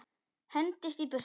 Hendist í burtu.